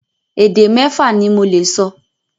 Èdè mẹ́fa ni mo lè sọ.